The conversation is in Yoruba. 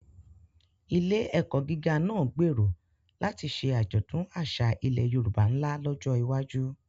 Ilé-ẹ̀kọ́ gíga náà gbèrò láti ṣe àjọ̀dún àṣà ilẹ̀ Yorùbá ńlá lọ́jọ́ iwájú.